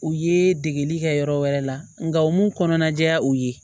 U ye degeli kɛ yɔrɔ wɛrɛ la nka u m'u kɔnɔna jɛya u ye